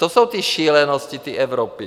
To jsou ty šílenosti té Evropy!